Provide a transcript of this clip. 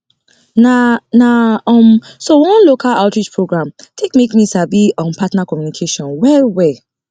na na um so one local outreach program take make me sabi um partner communication well well